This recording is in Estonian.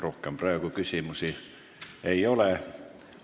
Rohkem praegu küsimusi ei ole.